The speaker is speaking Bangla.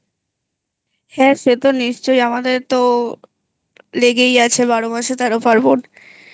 হ্যাঁ সে তো নিশ্চয়ই আমাদের তো লেগেই আছে বারো মাসে তেরো পার্বণ